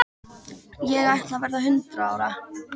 Ég ætla að verða hundrað ára.